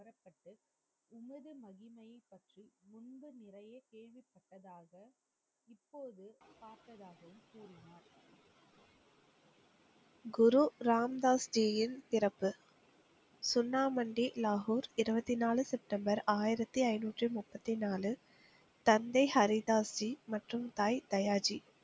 குரு ராம் தாஸ் ஜியின் சிறப்பு, சுன்னாமண்டி லாகூர் இருபத்தி நாலு செப்டம்பர் ஆயிரத்தி ஐந முப்பத்தி நாலு தந்தை ஹரி தாஸ் ஜி மற்றும் தாய் தயாஜி,